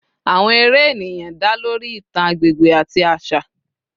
Awọn eré eniyan da lori itan agbegbe ati aṣa